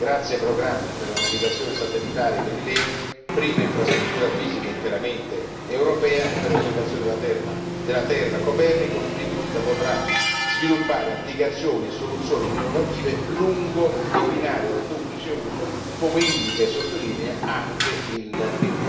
Grazie ai programmi per la navigazione satellitare Galileo prima infrastruttura fisica interamente europea e per l'osservazione della terra Copernicus l'industria potrà sviluppare applicazioni e soluzioni innovative lungo i binari del duplice uso, come indica e sottolinea anche la relazione